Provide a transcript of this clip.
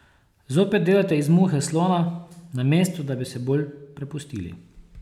Zopet delate iz muhe slona, namesto da bi se bolj prepustili.